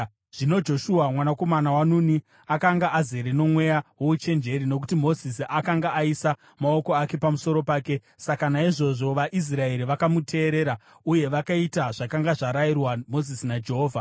Zvino Joshua mwanakomana waNuni akanga azere nomweya wouchenjeri nokuti Mozisi akanga aisa maoko ake pamusoro pake. Saka naizvozvo vaIsraeri vakamuteerera uye vakaita zvakanga zvarayirwa Mozisi naJehovha.